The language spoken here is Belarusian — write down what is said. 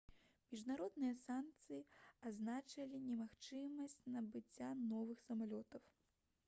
міжнародныя санкцыі азначалі немагчымасць набыцця новых самалётаў